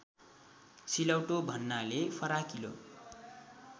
सिलौटो भन्नाले फराकिलो